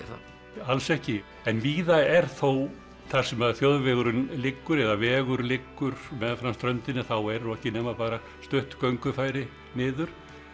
alls ekki en víða er þó þar sem þjóðvegurinn liggur eða vegur liggur meðfram ströndinni þá eru nú ekki nema bara stutt göngufæri niður